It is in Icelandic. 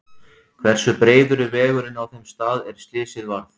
Hversu breiður er vegurinn á þeim stað er slysið varð?